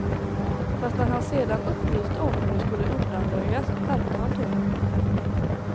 Fast när han sedan upplyste om hur det skulle undanröjas skärpte han tonen.